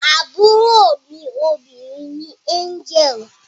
Àbúrò mí obìrin ní Angel